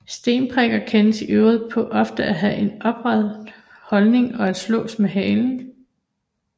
Stenpikker kendes i øvrigt på ofte at have en opret holdning og at slå med halen